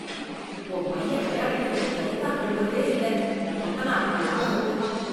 உன் பையன், விளையாடிட்டு வந்து கை கால் கழுவுறதே இல்ல...கொத்தனார் காலாட்டம் இருக்கு...